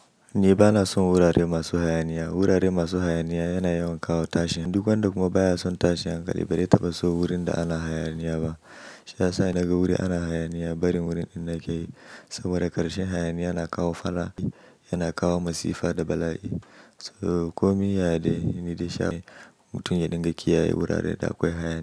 Ni bana son wurare masu hayaniya. Wurare masu hayaniya yana yawan kawo tashin hankali duk wanda kuma baya son tashin hankali ba dai taɓa so wurin da ana hayaniya ba. Sha saa na ga wuri ana hayaniya, bari wurin ina ke yi saboda ƙarshen hayaniya na kawo fala'i, yana kawo masifa da bala'i. So komi ya ya dai ni dai sha mutum ya dinga kiyaye wurare da akwai hayaniya.